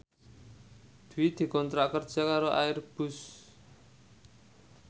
Dwi dikontrak kerja karo Airbus